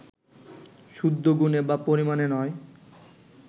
শুদ্ধ গুণে বা পরিমাণে নয়